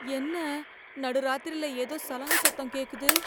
என்ன நடுராத்திரில ஏதோ சலங்க சத்தம் கேக்குது.